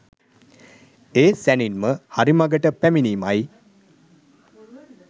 ඒ සැණින්ම හරි මගට පැමිණීමයි.